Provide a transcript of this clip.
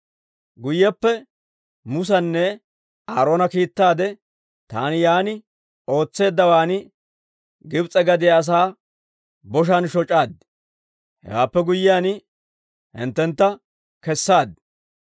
« ‹Guyyeppe Musanne Aaroona kiittaade taani yaan ootseeddawaan Gibs'e gadiyaa asaa boshaan shoc'aad; hewaappe guyyiyaan hinttentta kessaad.